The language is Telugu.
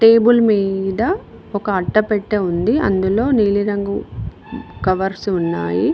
టేబుల్ మీద ఒక అట్ట పెట్ట ఉంది అందులో నీలిరంగు కవర్సు ఉన్నాయి.